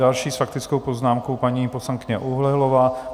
Další s faktickou poznámkou paní poslankyně Oulehlová.